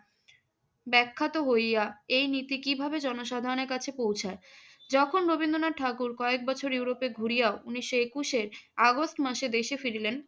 ব্যাখ্যাত হইয়া এই নীতি কীভাবে জনসাধারণের কাছে পৌঁছায়? যখন রবীন্দ্রনাথ ঠাকুর কয়েকবছর ইউরোপে ঘুরিয়া ও উনিশশো একুশের আগস্ট মাসে দেশে ফিরিলেন,